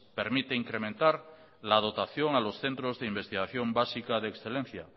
permite incrementar la dotación a los centros de investigación básica de excelencia